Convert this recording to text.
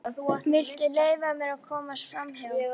Viltu leyfa mér að komast framhjá!